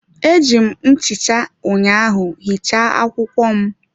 Eji m nchicha ụnyaahụ hichaa akwụkwọ m.